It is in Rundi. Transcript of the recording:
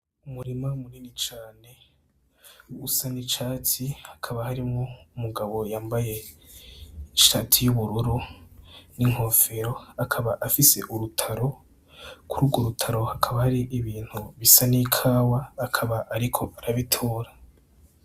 Umurima munini cane usa n'icatsi hakaba, harimwo umugabo yambaye ishati y'ubururu n'inkofero, akaba afise urutaro. Kuri urwo rutaro hakaba hari ibintu bisa n'ikawa, akaba ariko arabitora.